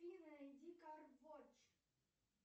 найди карвоч